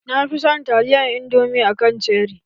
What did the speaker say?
Na fi son taliyar indomi a kan cheri